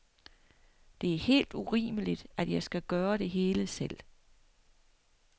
Det er helt urimeligt, at jeg skal gøre det hele selv.